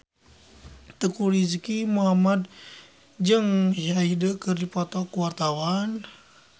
Teuku Rizky Muhammad jeung Hyde keur dipoto ku wartawan